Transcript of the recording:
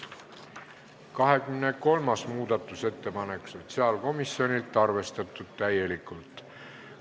23. muudatusettepanek sotsiaalkomisjonilt, arvestatud täielikult.